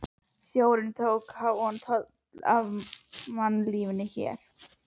Sjórinn tók háan toll af mannlífinu hér.